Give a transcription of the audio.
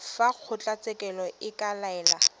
fa kgotlatshekelo e ka laela